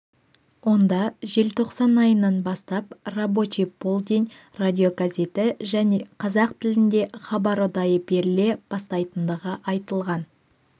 онда желтоқсан айынан бастап рабочий полдень радиогазеті және қазақ тілінде хабар ұдайы беріле бастайтындығы айтылған